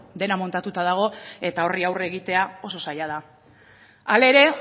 dena montatuta dago eta horri aurre egitea oso zaila da hala ere